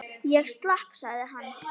Ég slapp sagði hann.